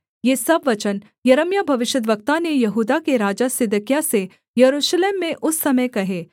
ये सब वचन यिर्मयाह भविष्यद्वक्ता ने यहूदा के राजा सिदकिय्याह से यरूशलेम में उस समय कहे